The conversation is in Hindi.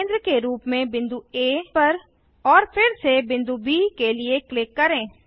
केंद्र के रूप में बिंदु आ पर और फिर से बिंदु ब के लिए क्लिक करें